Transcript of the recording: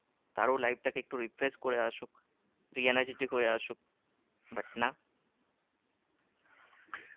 তারও life টাকে একটু refresh করে আসুক energytic হয়ে আসুক but না